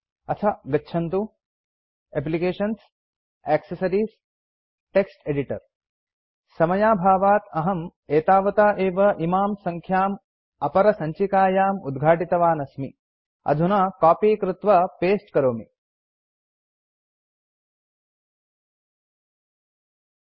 अथ गच्छन्तु एप्लिकेशन्सग्टेसेस्टेक्टेक्टेक्टेक्टेक्स्टेटेक्टेक्स्टेक्स्टेक्टेक्टेक्टेक्टेक्टेक्टेक्स्टेक्टेक्टेक्स्टेस्ट्टेक्टेस्टेक्टेक्टेक्टेस्ट्टेक्टेक्ट्ट्टेक्टेस्टेक्टेक्ट्टेक्टेक्टेस्टेक्टेक्टेक्ट्टेक्टेक्ट एडिटर समयाभावात् अहं एतावता एव इमां सङ्ख्याम् अपरसञ्चिकायाम् उद्घाटितवान् अस्मि